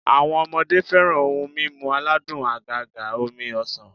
Awo̩n o̩mo̩de fe̩ran oun mimu aladun àgàgà omi ọsàn